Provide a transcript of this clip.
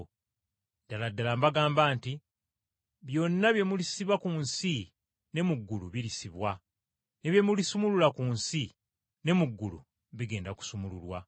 “Ddala ddala mbagamba nti byonna bye mulisiba ku nsi, ne mu ggulu birisibwa ne bye mulisumulula ku nsi, ne mu ggulu bigenda kusumululwa.